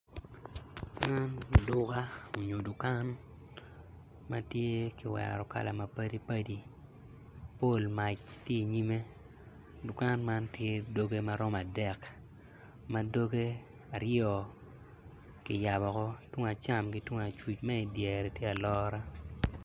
Man tye duka onyo dukan ma kiwero kala mapadi padi mapol mac tye inyime dukan man tye doge maromo adek madoge aryo ki yabo tung acam ki tung acuc ma idyereni tye alora